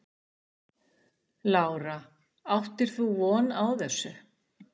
Lára: Áttir þú von á þessu?